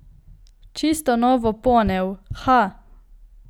Čisto novo ponev, ha!